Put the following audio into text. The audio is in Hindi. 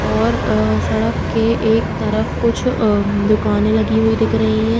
और अ सड़क के एक तरफ कुछ अम् दुकाने लगी हुई दिख दे रही है।